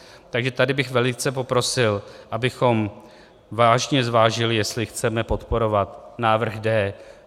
Takže tady bych velice poprosil, abychom vážně zvážili, jestli chceme podporovat návrh D.